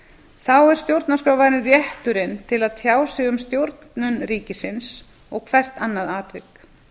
þá er stjórnarskrárvarinn rétturinn til að tjá sig um stjórnun ríkisins og hvert annað atvik